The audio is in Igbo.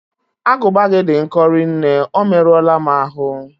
Agụba gị dị nkọ rinne, o merụọla m ahụ